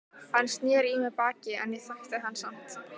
Hann sneri í mig baki en ég þekkti hann samt.